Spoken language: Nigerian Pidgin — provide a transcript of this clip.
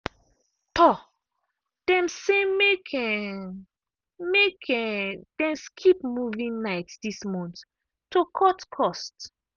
um dem say make um make um dem skip movie night this month to cut cost.